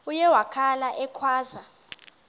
uye wakhala ekhwaza